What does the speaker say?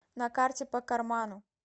на карте по карману